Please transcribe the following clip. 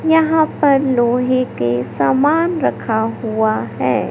यहां पर लोहे के सामान रखा हुआ है।